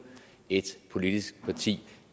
et politisk parti